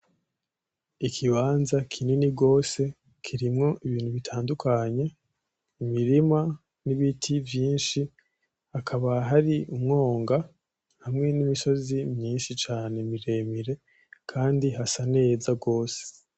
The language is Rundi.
Ikibanza kinini gose kirimwo ibintu bitandukanye, imirima n'ibiti vyinshi hakaba hari umwonga hamwe n'imisozi myinshi cane miremire kandi hasa neza gose